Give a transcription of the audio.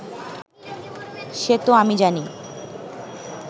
সে তো আমি জানি